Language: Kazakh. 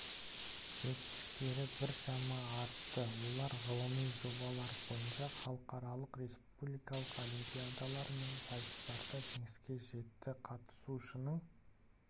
жетістіктері біршама артты олар ғылыми жобалар бойынша халықаралық республикалық олимпиадалар мен сайыстарда жеңіске жетті қатысушының